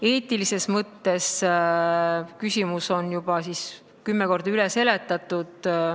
Eetilises mõttes on küsimus juba kümme korda üle seletatud.